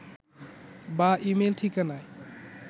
বা ই-মেইল ঠিকানায়